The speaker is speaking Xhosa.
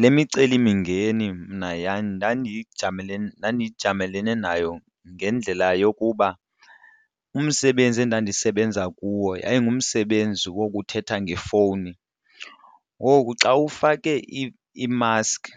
Le micelimingeni mna ndandiyijamele, ndandijamelee nayo ngendlela yokuba umsebenzi endandisebenza kuwo yayingumsebenzi wokuthetha ngefowuni. Ngoku xa ufake imaski